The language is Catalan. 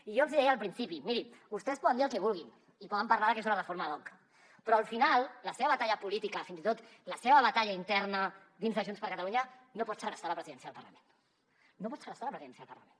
i jo els hi deia al principi mirin vostès poden dir el que vulguin i poden parlar que és una reforma ad hoc però al final la seva batalla política fins i tot la seva batalla interna dins de junts per catalunya no pot segrestar la presidència del parlament no pot segrestar la presidència del parlament